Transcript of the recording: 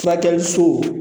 Furakɛli so